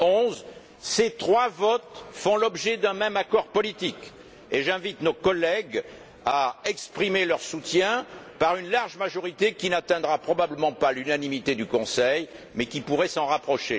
2011. Ces trois votes font l'objet d'un même accord politique et j'invite nos collègues à exprimer leur soutien par une large majorité, qui n'atteindra probablement pas l'unanimité du Conseil, mais qui pourrait s'en rapprocher.